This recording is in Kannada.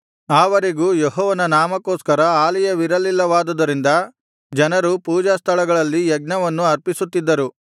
ಆ ವರೆಗೂ ಯೆಹೋವನ ನಾಮಕ್ಕೋಸ್ಕರ ಆಲಯವಿರಲಿಲ್ಲವಾದುದರಿಂದ ಜನರು ಪೂಜಾಸ್ಥಳಗಳಲ್ಲಿ ಯಜ್ಞವನ್ನು ಆರ್ಪಿಸುತ್ತಿದ್ದರು